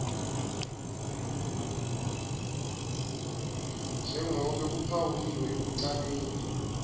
njengobe kuphawuliwe ekucaleni